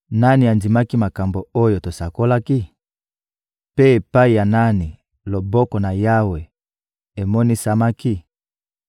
Nani andimaki makambo oyo tosakolaki? Mpe epai ya nani loboko na Yawe emonisamaki?